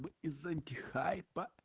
из антихайпа